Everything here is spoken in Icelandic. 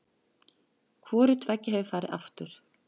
Hvoru tveggja hefur farið aftur.